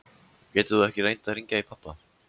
Getur þú ekki reynt að hringja í pabba?